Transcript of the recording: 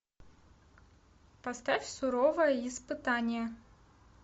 поставь суровое испытание